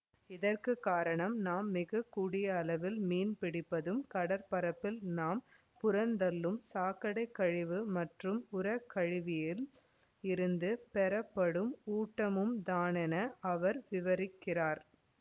இதற்கு காரணம் நாம் மிக கூடிய அளவில் மீன் பிடிப்பதும் கடற்பரப்பில் நாம் புறந்தள்ளும் சாக்கடைக்கழிவு மற்றும் உரக்கழிவில் இருந்துப் பெறப்படும் ஊட்டமும்தானென அவர் விவரிக்கிறார்